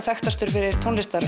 þekktastur fyrir